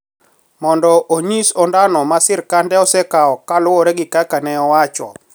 Mondo onyis ondano ma sirkande osekawo kaluwre gi kaka ne owacho